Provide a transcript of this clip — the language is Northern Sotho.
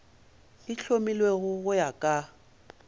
e hlomilwego go ya ka